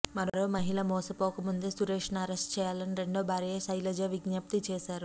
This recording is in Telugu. మరో మహిళ మోసపోకముందే సురేష్ను అరెస్ట్ చేయాలని రెండో భార్య శైలజ విజ్ఞప్తి చేశారు